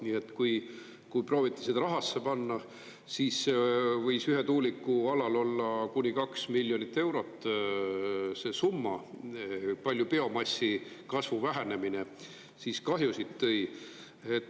Nii et, kui proovite seda rahasse panna, siis võis ühe tuuliku alal olla kuni kaks miljonit eurot see summa, palju biomassi kasvu vähenemine siis kahjusid tõi.